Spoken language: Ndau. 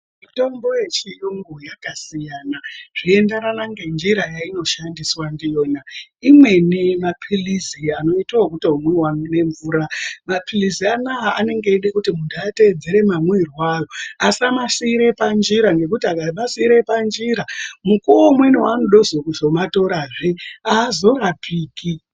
Mitombo yechiyungu yakasiyana zveienderana ngenjira yainoshandiswa ndiyona imweni mapirizi anoite ekutomwiwe nemvura mapirizi anaya anenge eide kuti munhu ateedzere mamwirwo avo asamasiire panjira nekuti akamaasamasiire panjira ngekuti mukuwo umweni waanozodazve kuzomatorozve haazorapiki.